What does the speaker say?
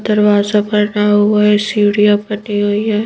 दरवाज़ा बना हुआ है सीढ़ियाँ बनी हुई हैं।